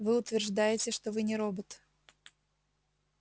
вы утверждаете что вы не робот